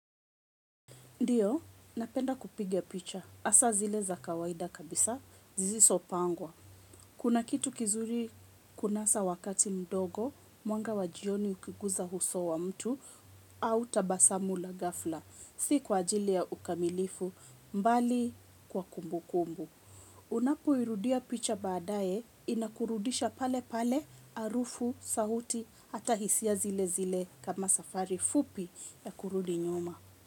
Ndio, napenda kupiga picha. Hasa zile za kawaida kabisa, zilizopangwa. Kuna kitu kizuri kunasa wakati mdogo, mwanga wa jioni ukiguza uso wa mtu, au tabasamu la ghafla, si kwa ajili ya ukamilifu, bali kwa kumbukumbu. Unapo irudia picha baadae, inakurudisha pale pale, harufu, sauti, ata hisia zile zile kama safari fupi ya kurudi nyuma.